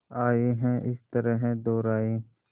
आए हैं इस तरह दोराहे